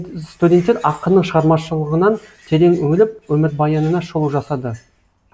студенттер ақынның шығармашлығынан терең үңіліп өмірбаянына шолу жасады